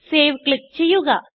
save click ചെയ്യുക